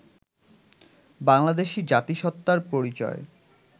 বাংলাদেশী জাতিসত্তার পরিচয়